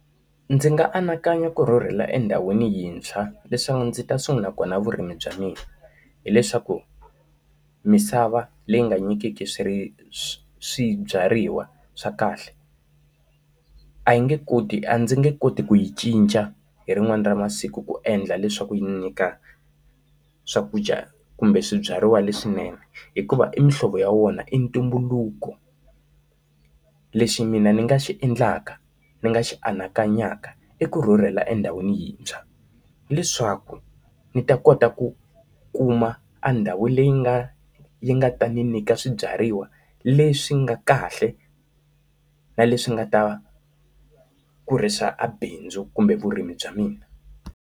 Ndzi nga anakanya ku rhurhela endhawini yintshwa leswaku ndzi ta sungula kona vurimi bya mina. Hileswaku misava leyi nga nyikeki swi swibyariwa swa kahle, a yi nge koti a ndzi nge koti ku yi cinca hi rin'wana ra masiku ku endla leswaku yi nyika swakudya kumbe swibyariwa leswinene, hikuva i muhlovo ya wona i ntumbuluko. Lexi mina ni nga xi endlaka ni nga xi anakanyaka i ku rhurhela endhawini yintshwa, leswaku ni ta kota ku kuma andhawu leyi yi nga yi nga ta ni nyika swibyariwa leswi nga kahle na leswi nga ta kurisa abindzu kumbe vurimi bya mina.